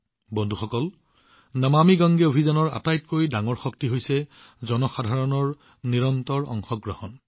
বন্ধুসকল নমামি গংগে অভিযানৰ আঁৰৰ শক্তিৰ আটাইতকৈ ডাঙৰ উৎস হৈছে জনসাধাৰণৰ নিৰন্তৰ অংশগ্ৰহণ